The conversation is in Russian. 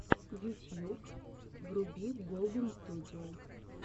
ютьюб вруби голдэнстудио